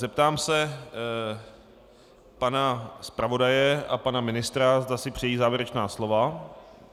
Zeptám se pana zpravodaje a pana ministra, zda si přejí závěrečná slova.